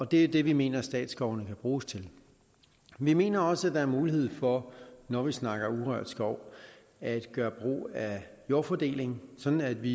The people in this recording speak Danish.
det er det vi mener statsskovene kan bruges til vi mener også at der er mulighed for når vi snakker urørt skov at gøre brug af jordfordeling sådan at vi